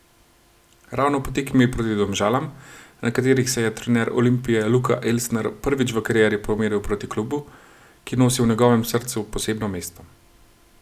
Ravno po tekmi proti Domžalam, na kateri se je trener Olimpije Luka Elsner prvič v karieri pomeril proti klubu, ki nosi v njegovem srcu posebno mesto.